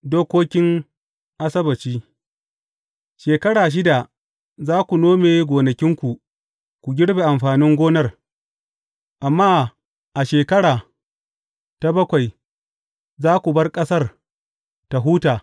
Dokokin Asabbaci Shekara shida za ku nome gonakinku ku girbe amfanin gonar, amma a shekara ta bakwai za ku bar ƙasa tă huta.